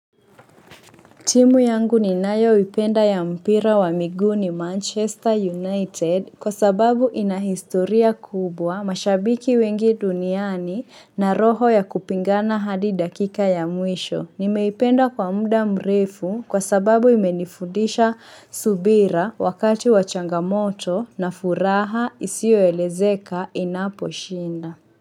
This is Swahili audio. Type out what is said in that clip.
Timu yangu ninayoipenda ya mpira wa miguu ni Manchester United kwa sababu ina historia kubwa mashabiki wengi duniani na roho ya kupingana hadi dakika ya mwisho. Nimeipenda kwa muda mrefu kwa sababu imenifundisha subira wakati wa changamoto na furaha isio elezeka inaposhinda.